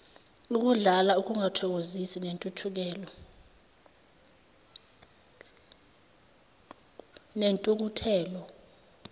ukudlala ukungathokozi nentukuthelo